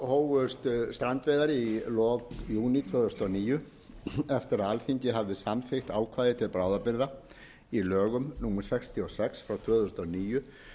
hófust strandveiðar í lok júní tvö þúsund og níu eftir að alþingi hafði samþykkt ákvæði til bráðabirgða í lögum númer sextíu og sex tvö þúsund og níu